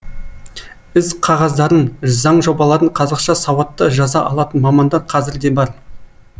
ісқағаздарын заң жобаларын қазақша сауатты жаза алатын мамандар қазір де бар